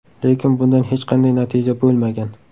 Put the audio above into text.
Lekin bundan hech qanday natija bo‘lmagan.